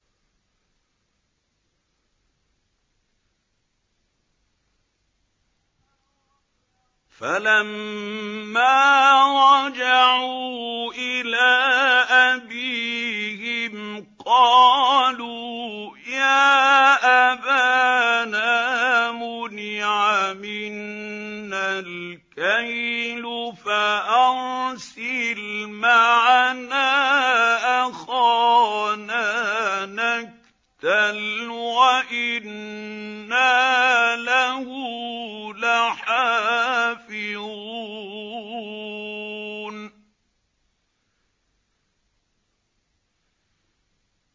فَلَمَّا رَجَعُوا إِلَىٰ أَبِيهِمْ قَالُوا يَا أَبَانَا مُنِعَ مِنَّا الْكَيْلُ فَأَرْسِلْ مَعَنَا أَخَانَا نَكْتَلْ وَإِنَّا لَهُ لَحَافِظُونَ